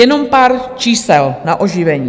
Jenom pár čísel na oživení.